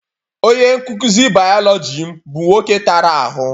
Onye nkuzi biology m bu nwoke tara ahụ.